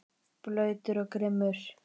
Blautur og grimmur.